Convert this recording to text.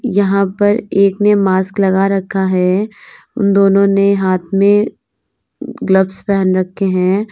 यहां पर एक ने मास्क लगा रखा है उन दोनों ने हाथ में ग्लव्स पहन रखे हैं।